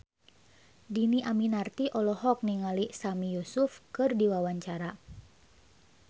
Dhini Aminarti olohok ningali Sami Yusuf keur diwawancara